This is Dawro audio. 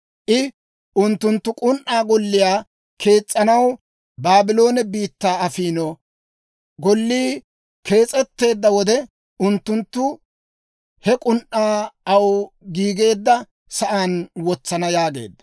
I, «Unttunttu k'un"aa golliyaa kees's'anaw Baabloone biittaa afiino; gollii kees'etteedda wode, unttunttu he k'un"aa aw giigeedda sa'aan wotsana» yaageedda.